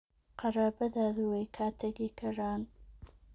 Qaraabadaadu way kaa tagi karaan